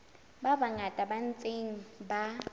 ba bangata ba ntseng ba